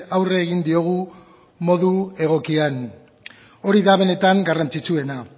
aurre egin diogu modu egokian hori da benetan garrantzitsuena